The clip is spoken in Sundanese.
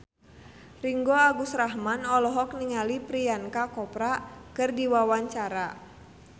Ringgo Agus Rahman olohok ningali Priyanka Chopra keur diwawancara